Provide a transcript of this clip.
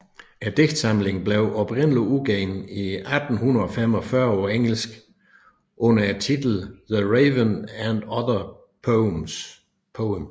Digtsamlingen blev oprindeligt udgivet 1845 på engelsk under titlen The Raven and Other Poems